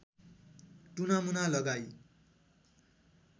टुनामुना लगाई